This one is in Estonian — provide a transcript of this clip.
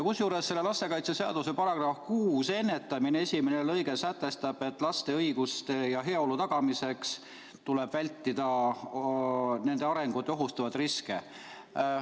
Kusjuures lastekaitseseaduse § 6, "Ennetamine", lõige 1 sätestab, et laste õiguste ja heaolu tagamiseks tuleb ennetada lapse heaolu ja arengut ohustavaid riske.